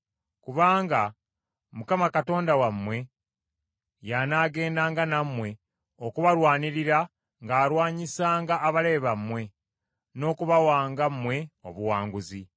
Kubanga Mukama Katonda wammwe y’anaagendanga nammwe okubalwanirira ng’alwanyisanga abalabe bammwe, n’okubawanga mmwe obuwanguzi.”